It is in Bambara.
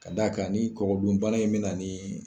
Ka d'a kan ni kɔgɔdunbana in be na nin